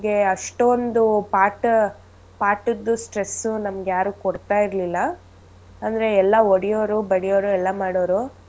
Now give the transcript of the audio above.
ನಮ್ಗೆ ಅಷ್ಟೊಂದು ಪಾಠ ಪಾಠದ್ stress ನಮ್ಗ್ಯಾರು ಕೊಡ್ತಾಯಿರ್ಲಿಲ್ಲ ಅಂದ್ರೆ ಎಲ್ಲಾ ಹೊಡಿಯೋರು ಬಡಿಯೋರು ಎಲ್ಲಾ ಮಾಡೋರು.